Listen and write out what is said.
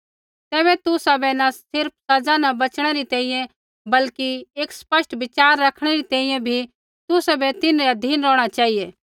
तैबै तुसाबै न सिर्फ़ सज़ा न बचणै री तैंईंयैं बल्कि एक स्पष्ट विचार रखणै री तैंईंयैं बी तुसाबै तिन्हरै अधीन रौहणा चेहिऐ